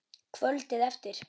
Kvöldið eftir.